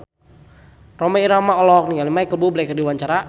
Rhoma Irama olohok ningali Micheal Bubble keur diwawancara